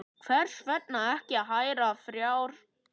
Hvers vegna ekki hærri fjárhæð?